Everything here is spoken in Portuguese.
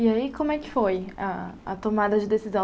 E aí, como é que foi a a tomada de decisão?